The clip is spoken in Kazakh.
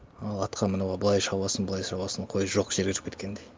ал атқа мініп алып былай шабасың былай шабасың қой жоқ жерге кіріп кеткендей